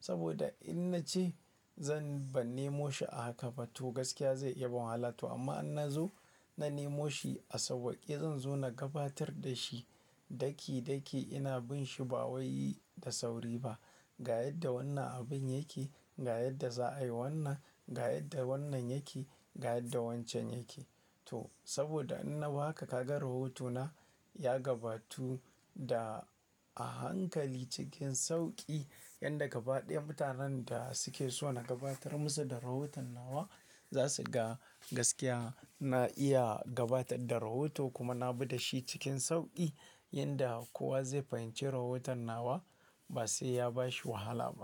Saboda in na ce zan, ban nemo shi a haka ba to gaskiya zai iya bani wahala to amma in na zo na nemo shi a sauƙi zan zo na gabatar da shi daki daki ina bin shi ba wai da sauri ba. Ga yadda wannan abin yake, ga yadda za a yi wannan, ga yadda wannan yake, ga yadda wancan yake. To saboda in na baka ka ga rahotona ya gabatu da a hankali cikin sauƙi yanda gaba ɗayan mutanen da suke so na gabatar musu da rahoton nawa za su ga gaskiya. Na iya gabatar da rahoto kuma na bi da shi cikin sauƙi yanda kowa zai fahimci rahoton nawa ba sai ya bashi wahala ba.